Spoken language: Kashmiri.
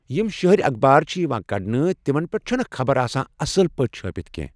یِم شٔہرٔۍ اَخبار چھِ یِوان کَڑنہٕ تِمن پٮ۪ٹھ چھنہٕ خبر آسان اَصٕل پٲٹھۍ چھٲپتھ کٮ۪نٛہہ